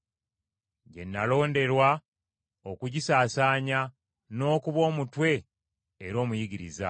gye nalonderwa okugisaasaanya, n’okuba omutume, era omuyigiriza,